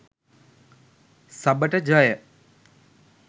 සබට ජය